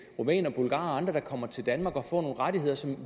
rumænere bulgarere og andre der kommer til danmark og får nogle rettigheder som